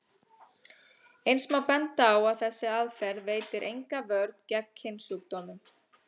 Eins má benda á að þessi aðferð veitir enga vörn gegn kynsjúkdómum.